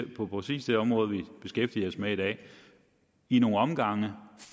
på præcis det område vi beskæftiger os med i dag i nogle omgange